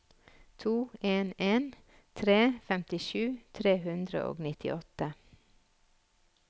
to en en tre femtisju tre hundre og nittiåtte